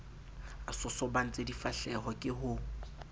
a sosobantse difahleho ke ho